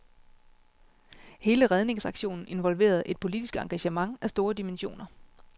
Hele redningsaktionen involverede et politisk engagement af store dimensioner.